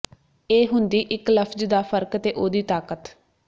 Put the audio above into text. ਇਹ ਹੁੰਦੀ ਇਕ ਲਫ਼ਜ਼ ਦਾ ਫਰਕ ਤੇ ਉਹਦੀ ਤਾਕਤ